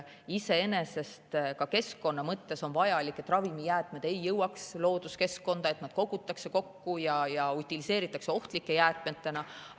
Ka keskkonna mõttes on vajalik, et ravimijäätmed ei jõuaks looduskeskkonda, et need kogutaks kokku ja utiliseeritaks ohtlike jäätmetena.